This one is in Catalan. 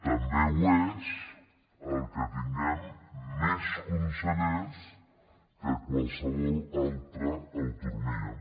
també ho és el que tinguem més consellers que qualsevol altra autonomia